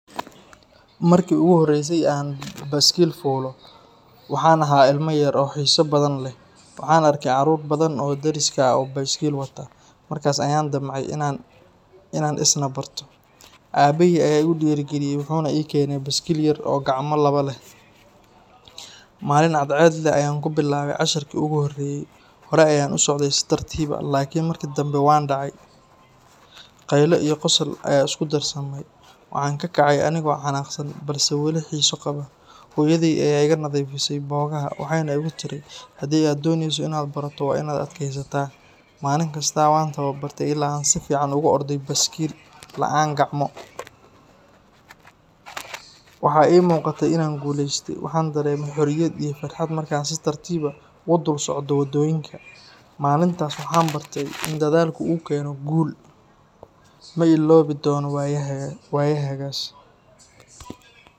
Markii ugu horreysay ee aan baaskiil fuulo, waxaan ahaa ilmo yar oo xiiso badan leh. Waxaan arkay carruur badan oo deriska ah oo baaskiil wata, markaas ayaan damcay inaan isna barto. Aabbahay ayaa igu dhiirrigeliyay wuxuuna ii keenay baaskiil yar oo gacmo laba leh. Maalin cadceed leh ayaan ku bilaabay casharkii ugu horreeyay. Horey ayaan u socday si tartiib ah, laakiin markii dambe waan dhacay. Qaylo iyo qosol ayaa isku darsamay. Waxaan ka kacay anigoo xanaaqsan balse weli xiiso qaba. Hooyaday ayaa iga nadiifisay boogaha, waxayna igu tiri, “Haddii aad dooneyso inaad barato, waa inaad adkaysataa.” Maalin kasta waan tababartay ilaa aan si fiican ugu orday baaskiil la’aan gacmo. Waxa ii muuqatay inaan guulaystay. Waxaan dareemay xorriyad iyo farxad markaan si tartiib ah ugu dul socdo waddooyinka. Maalintaas waxaan bartay in dadaalku uu keeno guul. Ma illoobi doono waayaheygaas.